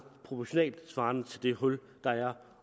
proportionalt svarende til det hul der er